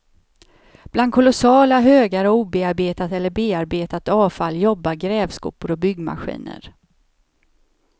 Bland kolossala högar av obearbetat eller bearbetat avfall jobbar grävskopor och byggmaskiner.